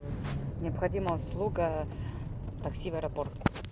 необходима услуга такси в аэропорт